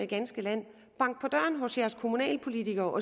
ganske land bank på døren hos jeres kommunalpolitikere og